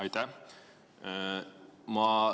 Aitäh!